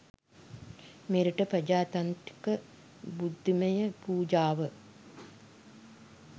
මෙරට ප්‍රජාතන්ත්‍රික බුද්ධිමය ප්‍රජාව